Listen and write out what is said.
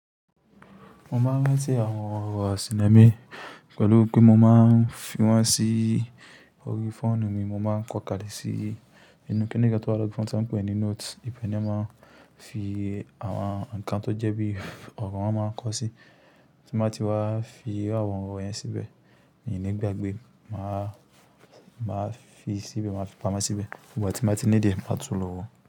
Mo máa ń rántí àwọn ọ̀rọ̀ àsìńa mì pẹ̀lú pé mo máa ń fi wọ́n sí orí fóònù mi, mo máa ń kọ́ kalẹ̀ sí inú kíni kan tì tó wá lọri phone tí wọ́n ń pè ní note. Ìpèní máa ń fi àwọn nǹkan tó jẹ́ bí ọ̀rọ̀ wọn máa ń kọ sí, tí mo bá ti wá fi àwọn ọ̀rọ̀ yẹn síbẹ̀, èyí ni gbàgbé máa fi síbẹ̀, máa fi pamọ́ síbẹ̀. Ìgbà tí mo bá ti ní diẹ, màá tún lo wò ó.